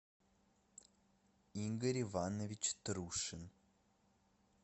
игорь иванович трушин